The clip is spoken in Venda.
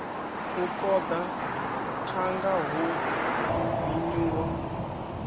u koḓa thanga hu vinyuwa